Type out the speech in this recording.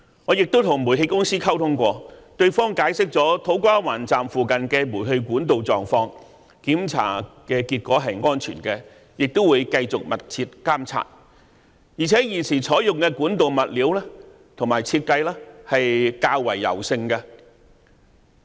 我亦曾與煤氣公司溝通，對方解釋了土瓜灣站附近的煤氣管道狀況，檢查結果顯示是安全的，亦會繼續密切監察，而現時採用的管道物料和設計也是較為柔軟的。